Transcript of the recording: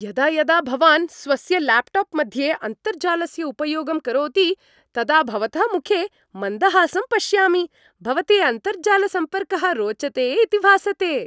यदा यदा भवान् स्वस्य ल्याप्टाप् मध्ये अन्तर्जालस्य उपयोगं करोति तदा भवतः मुखे मन्दहासं पश्यामि, भवते अन्तर्जालसम्पर्कः रोचते इति भासते!